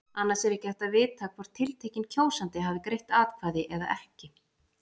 Annars er ekki hægt að vita hvort tiltekinn kjósandi hafi greitt atkvæði eða ekki.